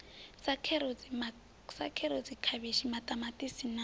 sa kherotsi khavhishi maṱamaṱisi na